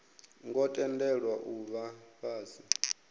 ngo tendelwa u vha fhasi